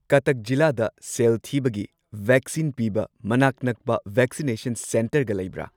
ꯀꯇꯛ ꯖꯤꯂꯥꯗ ꯁꯦꯜ ꯊꯤꯕꯒꯤ ꯚꯦꯛꯁꯤꯟ ꯄꯤꯕ ꯃꯅꯥꯛ ꯅꯛꯄ ꯚꯦꯛꯁꯤꯅꯦꯁꯟ ꯁꯦꯟꯇꯔꯒ ꯂꯩꯕ꯭ꯔꯥ?